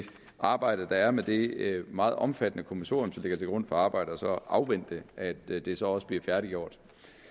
arbejde der er med det meget omfattende kommissorium der ligger til grund for arbejdet og så afvente at det det så også bliver færdiggjort